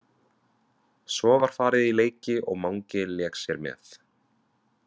Svo var farið í leiki og Mangi lék sér með.